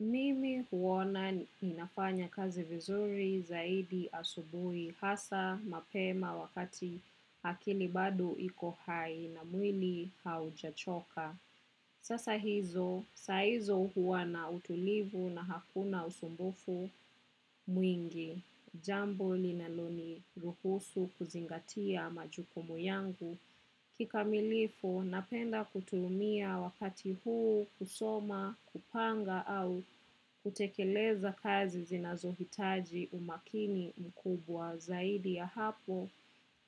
Mimi huona ninafanya kazi vizuri zaidi asubui hasa mapema wakati akili bado ikohai na mwili haujachoka. Sasa hizo, saizo huwana utulivu na hakuna usumbufu mwingi. Jambo li naloni ruhusu kuzingatia majukumu yangu. Kika milifu, napenda kutumia wakati huu kusoma, kupanga au kutekeleza kazi zinazohitaji umakini mkubwa zaidi ya hapo.